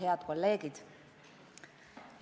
Head kolleegid!